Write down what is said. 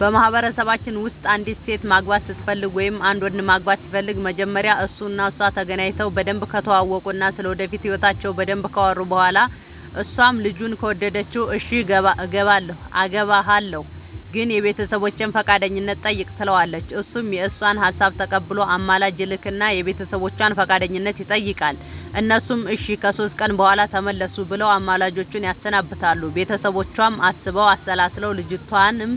በማህበረሰባችን ውስጥ አንዲት ሴት ማግባት ስትፈልግ ወይም አንድ ወንድ ማግባት ሲፈልግ መጀመሪያ እሱ እና እሷ ተገናኝተው በደንብ ከተዋወቁ እና ስለ ወደፊት ህይወታቸው በደንብ ካወሩ በኋላ እሷም ልጁን ከወደደችው እሽ አገባሀለሁ ግን የቤተሰቦቼን ፈቃደኝነት ጠይቅ ትለዋለች እሱም የእሷን ሀሳብ ተቀብሎ አማላጅ ይልክ እና የቤተሰቦቿን ፈቃደኝነት ይጠይቃል እነሱም እሺ ከሶስት ቀን በኋላ ተመለሱ ብለው አማላጆቹን ያሰናብታሉ ቤተሰቦቿም አስበው አሠላስለው ልጅቷንም